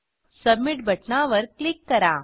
submit बटणावर click करा